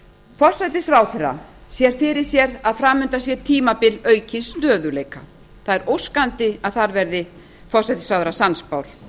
forsætisráðherra sér fyrir sér að fram undan sé tímabil aukins stöðugleika það er óskandi að þar sé forsætisráðherra sannspár